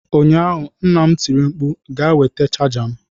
Ụnyaahụ nna m tiri mkpu "Gaa nweta chaja m!"